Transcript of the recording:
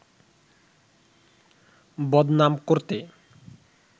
বদনাম করতে